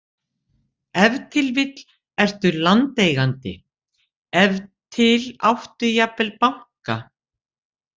Ef til vill ertu landeigandi, ef til áttu jafnvel banka.